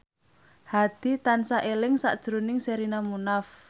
Hadi tansah eling sakjroning Sherina Munaf